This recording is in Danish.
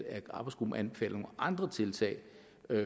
at arbejdsgruppen anbefaler nogle andre tiltag